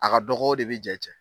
A ka dɔgɔ o de bɛ jɛ cɛn.